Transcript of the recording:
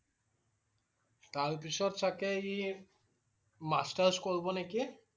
তাৰ পিছত চাগে ই masters কৰিব নেকি